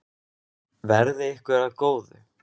Verði ykkur að góðu.